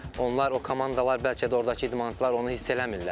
Onlar o komandalar bəlkə də ordakı idmançılar onu hiss eləmirlər.